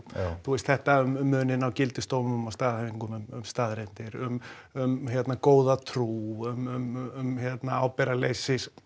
þú veist þetta um muninn á gildisdómum og staðhæfingum um staðreyndir um um góða trú um ábyrgðarleysi